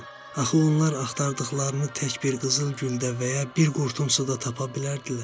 "Axı onlar axtardıqlarını tək bir qızıl güldə və ya bir qurtum suda tapa bilərdilər."